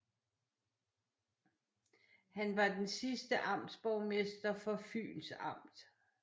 Han var den sidste amtsborgmester for Fyns Amt